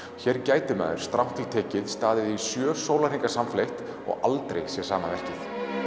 hér gæti maður strangt til tekið staðið í sjö sólarhringa samfleytt og aldrei séð sama verkið